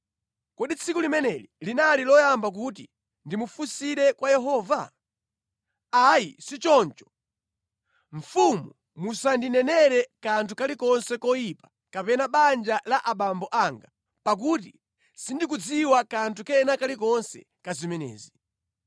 Kodi tsiku limeneli linali loyamba kuti ndimufunsire kwa Yehova? Ayi sichoncho! Mfumu musandinenere kanthu kalikonse koyipa kapena banja la abambo anga, pakuti sindikudziwa kanthu kena kalikonse ka zimenezi.”